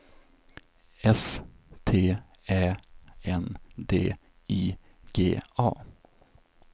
S T Ä N D I G A